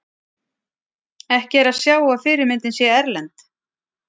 ekki er að sjá að fyrirmyndin sé erlend